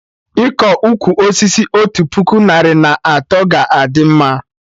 Iko ụkwụ osisi otu puku narị na atọ ga-adị mma